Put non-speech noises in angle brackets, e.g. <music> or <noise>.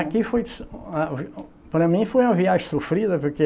Aqui foi, des a <unintelligible> Para mim foi uma viagem sofrida, porque